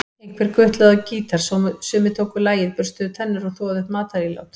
Einhver gutlaði á gítar, sumir tóku lagið, burstuðu tennur, þvoðu upp matarílát.